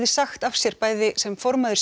segja af sér bæði sem formaður